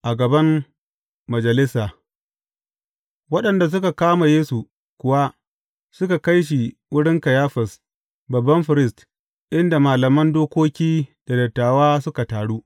A gaban majalisa Waɗanda suka kama Yesu kuwa suka kai shi wurin Kayifas, babban firist, inda malaman dokoki da dattawa suka taru.